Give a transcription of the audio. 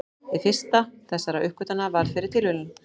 Hin fyrsta þessara uppgötvana varð fyrir tilviljun.